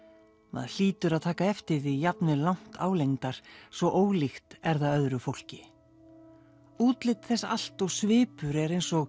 maður hlýtur að taka eftir því jafnvel langt álengdar svo ólíkt er það öðru fólki útlit þess allt og svipur er eins og